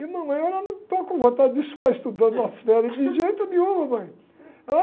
E a mamãe, ela, não estou com vontade de ficar estudando nas férias de jeito nenhum, mamãe.